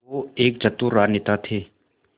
वो एक चतुर राजनेता थे